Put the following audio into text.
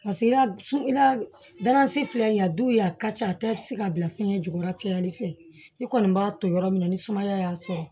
Paseke i ka filɛ nin ye a du y'a ka ca a tɛ se ka bila fiɲɛ jukɔrɔla cayali fɛ i kɔni b'a to yɔrɔ min na ni sumaya y'a sɔrɔ